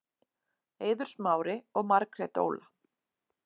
Eiður Smári og Margrét Óla